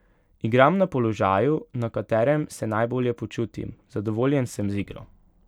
Igram na položaju, na katerem se najbolje počutim, zadovoljen sem z igro.